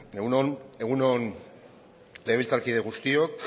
egun on egun on legebiltzarkide guztiok